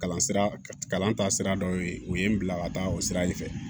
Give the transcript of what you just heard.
Kalan sira kalan taa sira dɔ y'o ye o ye n bila ka taa o sira in fɛ